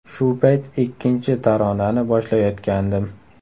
Shu payt ikkinchi taronani boshlayotgandim.